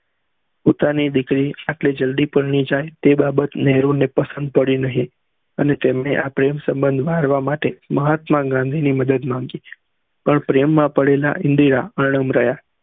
પોતાની દીકરી આપળે જલ્દી જાય તે બાબત નેહરુ ને પસંદ પડી નહી અને તેમને આ પ્રેમ સંબંધ મારવા માટે મહાત્મા ગાંધી ની મદદ માંગી પર પ્રેમ માં પડેલા ઇન્દિરા અનમ રહ્યા